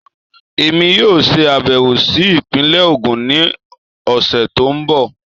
Èmi yóò ṣe àbẹ̀wò sí ìpínlẹ̀ Ogun ní ọ̀sẹ̀ tó ń bọ̀